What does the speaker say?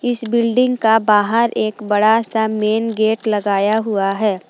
इस बिल्डिंग का बाहर एक बड़ा सा मेन गेट लगाया हुआ है।